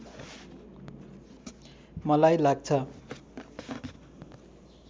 मलाई लाग्छ